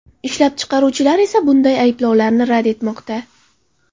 Ishlab chiqaruvchilar esa bunday ayblovlarni rad etmoqda.